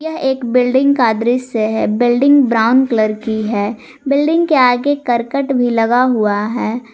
यह एक बिल्डिंग का दृश्य है बिल्डिंग ब्राऊन कलर की है बिल्डिंग के आगे करकट भी लगा हुआ है।